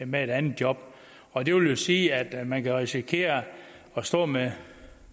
med et andet job og det vil jo sige at man kan risikere at stå med